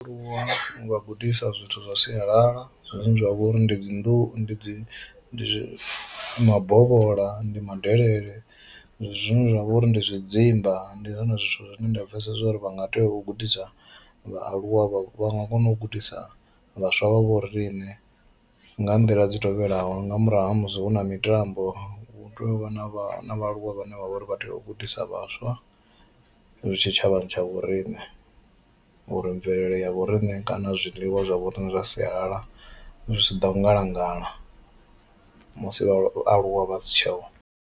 U vha gudisa zwithu zwa sialala zwine zwa vha uri ndi dzi nḓuu ndi zwi ndi mabovhola, ndi madelele zwine zwa vha uri ndi zwidzimba ndi zwone zwithu zwine nda pfhesesa zwori vha nga tea u gudisa, vhaaluwa vha nga kona u gudisa vhaswa vha vho riṋe nga nḓila dzi tevhelaho nga murahu ha musi hu na mitambo hu tea u vha na vhaaluwa vhane vha vhori vha tea u gudisa vhaswa tshitshavhani tsha vho riṋe, uri mvelele ya vho riṋe kana zwiliwa zwa vho riṋe zwa sialala zwi si ḓo ngalangala musi vhaaluwa vha si tsheho.